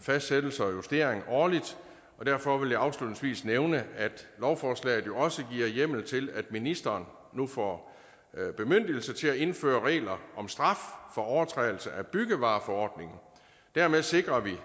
fastsættelse og justering årligt og derfor vil jeg afslutningsvis nævne at lovforslaget jo også giver hjemmel til at ministeren nu får bemyndigelse til at indføre regler om straf for overtrædelse af byggevareforordningen og dermed sikrer vi